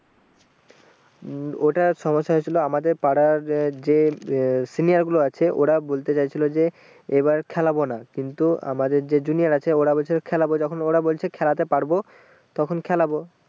উম ওটা সমস্যা হয়েছিল আমাদের পাড়ার যে উম senior গুলো আছে ওরা বলতে চাইছিলো যে এবার খেলবো না কিন্তু আমাদের যে junior আছে ওরা বলছে খেলবো যখন ওরা বলছে খেলাতে পারবো তখন খেলবো ।